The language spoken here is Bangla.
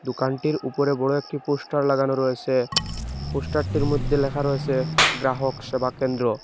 দোকানটির উপরে বড় একটি পোস্টার লাগানো রয়েসে পোস্টার -টির মদ্যে ল্যাখা রয়েসে গ্রাহক সেবা কেন্দ্র।